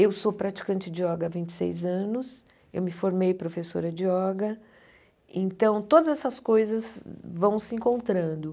Eu sou praticante de yoga há vinte e seis anos, eu me formei professora de yoga, então todas essas coisas vão se encontrando.